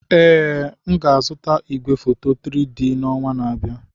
Ee, m ga-azụta igwefoto 3-D na ọnwa na-abịa.